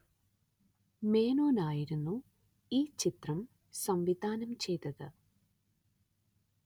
മേനോന്‍ ആയിരുന്നു ഈ ചിത്രം സംവിധാനം ചെയ്തത്